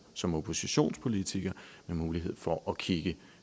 som oppositionspolitiker med mulighed for at kigge